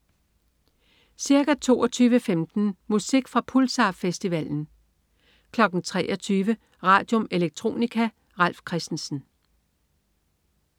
Ca. 22.15 Musik fra Pulsar-festivalen 23.00 Radium. Electronica. Ralf Christensen